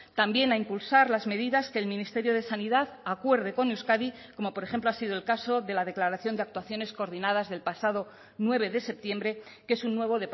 también a impulsar las medidas que el ministerio de sanidad acuerde con euskadi como por ejemplo ha sido el caso de la declaración de actuaciones coordinadas del pasado nueve de septiembre que es un nuevo